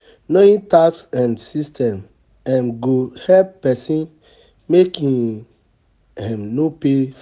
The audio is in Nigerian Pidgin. Knowing tax um systems um go help pesin make im um no pay.